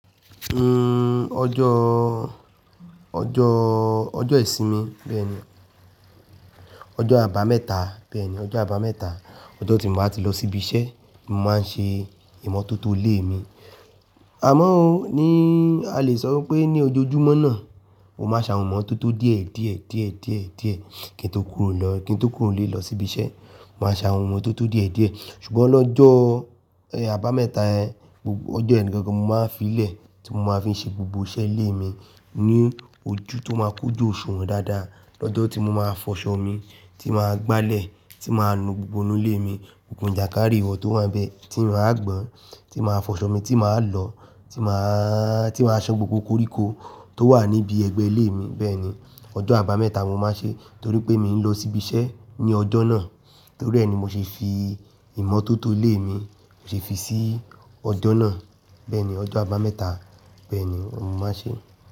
Uhm ọjọ ọjọ ọjọ ìsinmi bẹ́ẹ̀ni, ọjọ abameta bẹ́ẹ̀ni, ọjọ abameta, ọjọ tí m bá tí lọ síbi iṣẹ́ ni mo máa ń ṣe ìmọ́tótó ilé mi. Àmọ́ ó ní a lè sọ pé ní ojoojúmọ́ náà, mo máa sa ìmọ́tótó díẹ̀, díẹ̀, díẹ̀, díẹ̀, díẹ̀ kí n tó kúrò lọ, kí n tó kúrò lé lọ síbi iṣẹ́. Mo máa sa ìmọ́tótó díẹ̀, díẹ̀ ṣùgbọ́n lọ́jọ́ ẹ abameta ẹ, ọjọ́ ẹni gangan mo máa fí ìlẹ̀ tí mo máa fi ṣe gbogbo iṣẹ́ ilé mi ní ojú tó máa kojú Òṣuwon dáadáa. Ọjọ́ tí mo máa fọṣọ mi, tí màá gbálẹ̀, tí màá nu gbogbo inú ilé mi, gbogbo ìjàkárì iwọ́ tó wà níbẹ̀ tí mo máa gbọn, tí màá fọṣọ mi, tí màá lọ, tí màá tí màá san gbogbo koríko tó wà níbi ẹgbẹ́ ilé mi bẹ́ẹ̀ni. Ọjọ́ abameta mo máa ṣe torí pé mi n lọ síbi iṣẹ́ ní ọjọ́ náà. Torí ẹ ni mo ṣe fi ìmọ́tótó ilé mi mo ṣe fi sí ọjọ́ náà. Bẹ́ẹ̀ni ọjọ́ abameta bẹ́ẹ̀ni mo máa ṣe.